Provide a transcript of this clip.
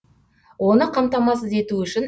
оны қамтамасыз ету үшін